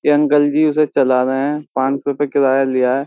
ये अंकल जी उसे चला रहे हैं पाँच सौ रूपये किराया लिया है।